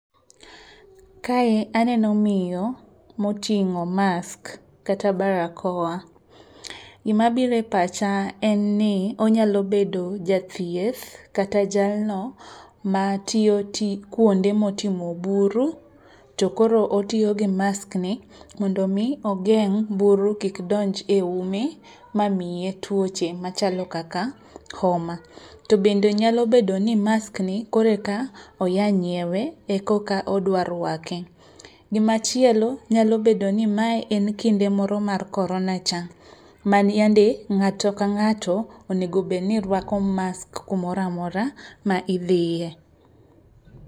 Kae aneno miyo motingó mask kata barakoa. Gima biro e pacha en ni onyalo bedo jathieth kata jalno matiyo kuonde ma otimo buru. To koro otiyo gi maskni mondo omi ogeng' buru kik donj e ume ma miye tuoche machalo kaka homa. To bende nyalo bedo ni maskni koro eka oya nyiewe, e koka odwa rwake. Gima chielo nyalo bedo ni mae en kinde moro mar korona cha. Mani yande ngáto ka ngáto onego bed ni rwako mask kumoro amora ma idhiye.